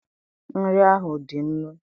nri ahụ dị nnu